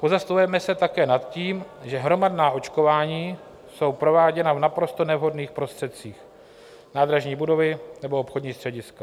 Pozastavujeme se také nad tím, že hromadná očkování jsou prováděna v naprosto nevhodných prostředích - nádražní budovy nebo obchodní střediska.